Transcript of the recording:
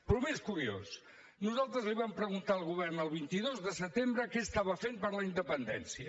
però el més curiós nosaltres li vam preguntar al govern el vint dos de setembre què estava fent per la independència